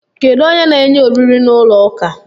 Kedu onye na enye oriri na ụlọ ụka?